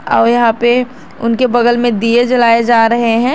और यहां पे उनके बगल में दिये जलाये जा रहे है।